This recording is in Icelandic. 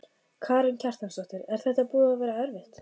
Karen Kjartansdóttir: Er þetta búið að vera erfitt?